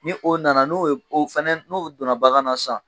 Ni o nana n'o fana donna bagan na san.